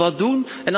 We moeten wat doen.